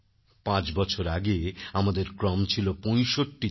পাঁচ বছর আগে আমাদের ক্রম ছিল ৬৫তম